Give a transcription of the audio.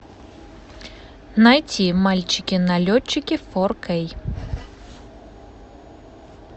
найти мальчики налетчики фор кей